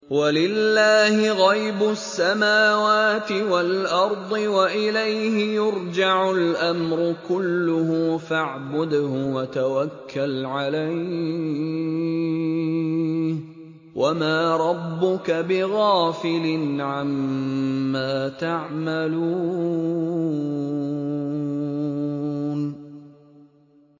وَلِلَّهِ غَيْبُ السَّمَاوَاتِ وَالْأَرْضِ وَإِلَيْهِ يُرْجَعُ الْأَمْرُ كُلُّهُ فَاعْبُدْهُ وَتَوَكَّلْ عَلَيْهِ ۚ وَمَا رَبُّكَ بِغَافِلٍ عَمَّا تَعْمَلُونَ